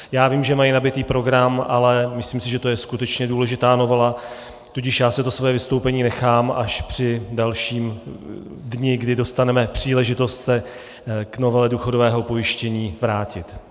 Já vím, že mají nabitý program, ale myslím si, že to je skutečně důležitá novela, tudíž já si to svoje vystoupení nechám až při dalším dni, kdy dostaneme příležitost se k novele důchodového pojištění vrátit.